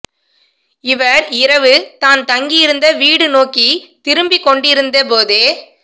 இவர் இரவு தான் தங்கியிருந்த வீடு நோக்கி திரும்பிக் கொண்டிருந்த போதே